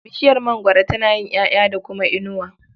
Bishiyar mangwaro tana yin ƴaƴa da kuma inuwa.